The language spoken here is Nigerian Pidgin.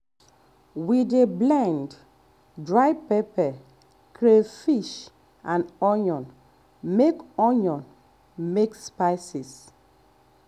um we dey blend um dry pepper crayfish and onion make onion make spices